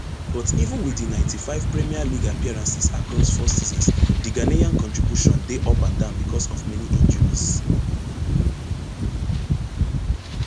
but even wit di ninety-five premier league appearances across four seasons di ghanaian contribution dey up and down becos of many injuries